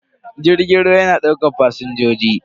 Jirgin ruwa yana daukan fasinjoji.